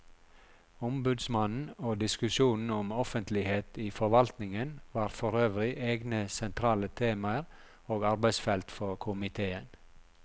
Ombudsmannen og diskusjonen om offentlighet i forvaltningen var forøvrig egne sentrale temaer og arbeidsfelt for komiteen.